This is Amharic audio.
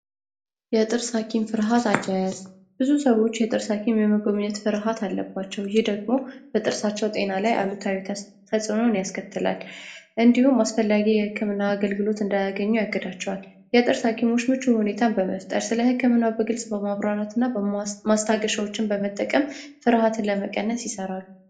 የጥርስ ሀኪም ፍርሃት ብዙ ሰዎች የጥርስ ፍርሃት አለባቸው ይደግሙ በጥርሳቸው ጤና ላይ አሉን ያስከትላል እንዲሁም አስፈላጊ የህክምና አገልግሎት እንዳያገኘው ያገዳቸዋል በመጠቀም ፍርሃት ለመቀነስ ይሰራሉ።